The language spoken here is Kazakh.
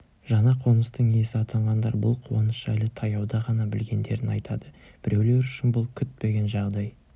жаңа қоныстың иесі атанғандар бұл қуаныш жайлы таяуда ғана білгендерін айтады біреулер үшін бұл күтпеген жағдай